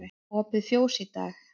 Opið fjós í dag